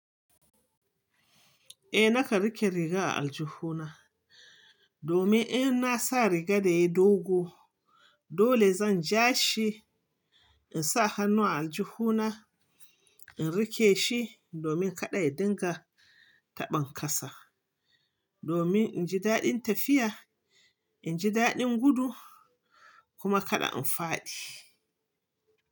Eh, nakan rike riga a aljihuna domin in na sa riga da yi dogo dole zan ja shi in sa hannuna a aljihuna in rike shi domin kada ya dunga taɓan kasa domin in ji daɗin tafiya, in ji daɗin gudu kuma kada in faɗi.